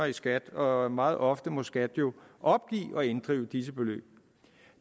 i skat og meget ofte må skat jo opgive at inddrive disse beløb